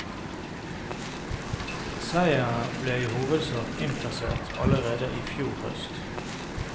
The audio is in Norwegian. Seieren ble i hovedsak innkassert allerede i fjor høst.